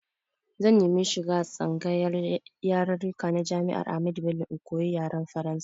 Zan nemi shiga tsangayar yarirrika na Jami'ar Ahmadu Bello in koyi yaren Faransa.